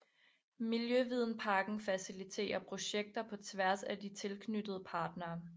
Miljøvidenparken faciliterer projekter på tværs af de tilknyttede partnere